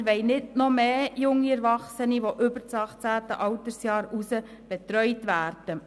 Wir wollen nicht noch mehr junge Erwachsene, die über das 18. Altersjahr hinaus betreut werden.